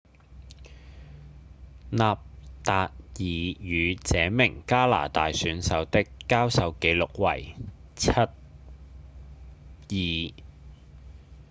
納達爾與這名加拿大選手的交手紀錄為 7–2